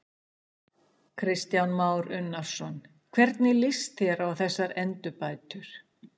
Kristján Már Unnarsson: Hvernig líst þér á þessar endurbætur?